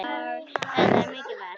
Þetta er mikið verk.